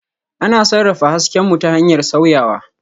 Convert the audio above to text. Ana sarrafa hasken mu ta hanyar sauyawa